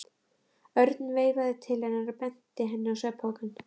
Örn veifaði til hennar og benti henni á svefnpokann.